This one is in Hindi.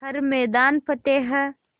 हर मैदान फ़तेह